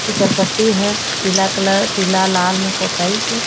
फिसल पट्टी हे पीला कलर पीला लाल मा पोताइस हे।